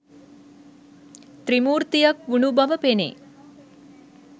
ත්‍රිමූර්තියක් වුණු බව පෙනේ.